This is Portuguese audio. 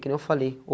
Que nem eu falei.